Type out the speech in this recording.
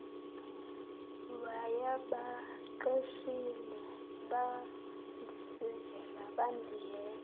wayebaqeshile bandisizela bandiyeka